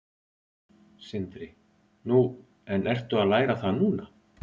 Sindri: Nú, en ertu að læra það núna?